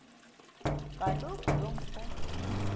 kaloku lo mfo